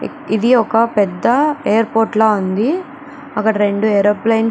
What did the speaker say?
ఇది ఒక పెద్ద ఎయిర్పోర్టు లా ఉంది అక్కడ రెండు ఏరోప్లేన్స్ --